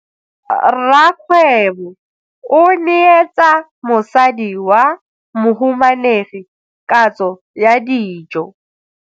Rragwebo o neetsa mosadi wa mohumanegi katso ya dijo.